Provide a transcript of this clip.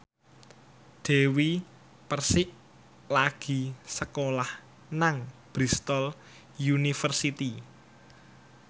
Dewi Persik lagi sekolah nang Bristol university